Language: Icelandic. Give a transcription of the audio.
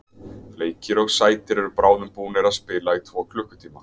Bleikir og sætir eru bráðum búnir að spila í tvo klukkutíma.